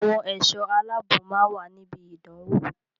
Àwọn ẹ̀sọ́ aláàbnò máa wà ní ibi ìdánwò.